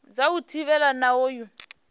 dza u thivhela na u